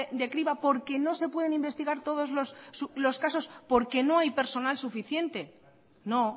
de criba porque no se pueden investigar todos los casos porque no hay personal suficiente no